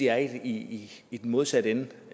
er i i den modsatte ende